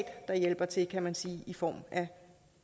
der hjælper til kan man sige det i form af